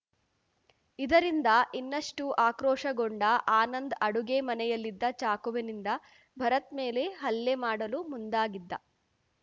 ಇದರಿಂದ ಇನ್ನಷ್ಟುಆಕ್ರೋಶಗೊಂಡ ಆನಂದ್‌ ಅಡುಗೆ ಮನೆಯಲ್ಲಿದ್ದ ಚಾಕುವಿನಿಂದ ಭರತ್‌ ಮೇಲೆ ಹಲ್ಲೆ ಮಾಡಲು ಮುಂದಾಗಿದ್ದ